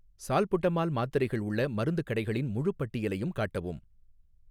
salbutamol மாத்திரைகள் உள்ள மருந்துக் கடைகளின் முழுப் பட்டியலையும் காட்டவும்